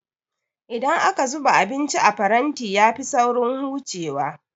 Idan aka zuba abinci a faranti ya fi saurin hucewa